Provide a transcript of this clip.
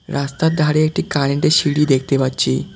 রাস্তার ধারে একটি কারেন্ট -এর সিঁড়ি দেখতে পাচ্ছি।